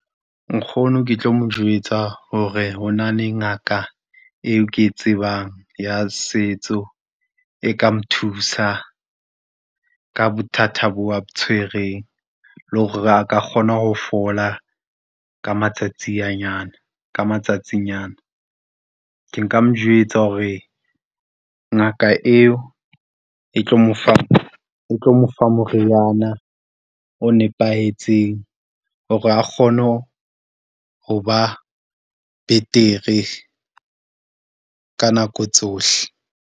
Nkgono, ke tlo mo jwetsa hore hona le ngaka eo ke e tsebang ya setso, e ka mo thusa ka bothata boo a bo tshwereng, le hore a ka kgona ho fola ka matsatsi a nyana, ka matsatsinyana. Ke nka mo jwetsa hore ngaka eo e tlo mo fa, e tlo mo fa moriana o nepahetseng hore a kgone ho ba betere ka nako tsohle.